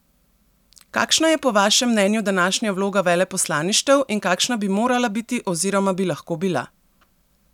Kakšna je po vašem mnenju današnja vloga veleposlaništev in kakšna bi morala biti oziroma bi lahko bila?